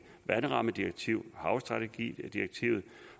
vandrammedirektivet og havstrategidirektivet